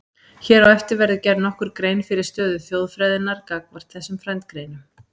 Hér á eftir verður gerð nokkur grein fyrir stöðu þjóðfræðinnar gagnvart þessum frændgreinum.